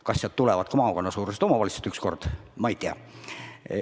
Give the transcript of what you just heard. Kas sealt tulevad ka ükskord maakonnasuurused omavalitsused, ma ei tea.